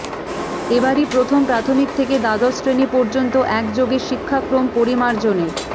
এবারই প্রথম প্রাথমিক থেকে দ্বাদশ শ্রেণি পর্যন্ত একযোগে শিক্ষাক্রম পরিমার্জনের